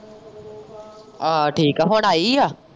ਆਹ ਠੀਕ ਏ ਹੁਣ ਆਈ ਏ।